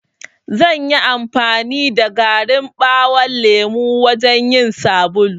Zanyi amfani da garin ɓawon lemo wajan yin sabulu.